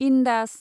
Indus